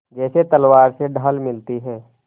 जैसे तलवार से ढाल मिलती है